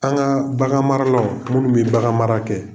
An ka bagan maralaw minnu bi bagan mara kɛ.